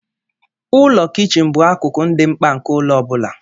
Ụlọ kichin bụ akụkụ dị mkpa nke ụlọ ọ bụla.